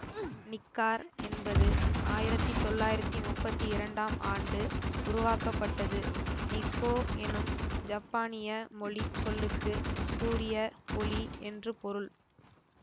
Nikkor என்பது ஆயிரத்தி தொள்ளாயிரத்தி முப்பத்தி இரண்டாம் ஆண்டு உருவாக்கப்பட்டது நிக்கோ எனும் ஜப்பானிய மொழி சொல்லுக்கு சூரிய ஒளி என்று பொருள்